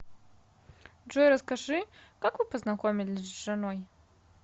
джой расскажи как вы познакомились с женой